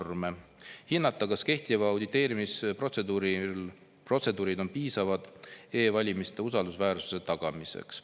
hinnata, kas kehtivad auditeerimisprotseduurid on piisavad e-valimiste usaldusväärsuse tagamiseks.